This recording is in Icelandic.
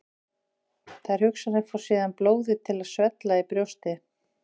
Þær hugsanir fá síðan blóðið til að svella í brjósti.